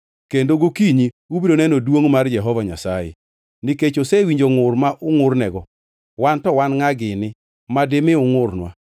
kendo gokinyi ubiro neno duongʼ mar Jehova Nyasaye, nikech osewinjo ngʼur ma ungʼurnego. Wan to wan ngʼa gini ma dimi ungʼurnwa?”